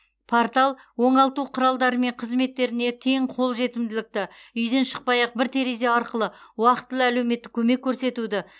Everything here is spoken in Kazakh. портал оңалту құралдары мен қызметтеріне тең қолжетімділікті үйден шықпай ақ бір терезе арқылы уақытылы әлеуметтік көмек көрсетуді